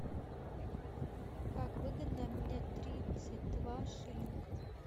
как выгодно обменять тридцать два шиллинга